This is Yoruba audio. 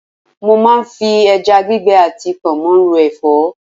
Mo máa ń fi ẹja gbígbẹ àti pọnmó ro Ẹ̀fọ́.